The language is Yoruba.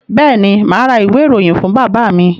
Bẹ́ẹ̀ ni, mà á ra ìwé-ìròyìn fún bàbá mi.